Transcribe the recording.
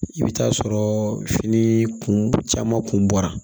I bɛ taa sɔrɔ fini kun caman kun bɔra